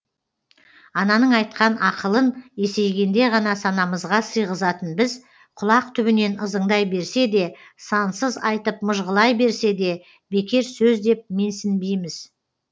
ананың айтқан ақылын есейгенде ғана санамызға сыйғызатын біз құлақ түбінен ызыңдай берсе де сансыз айтып мыжғылай берсе де бекер сөз деп менсінбейміз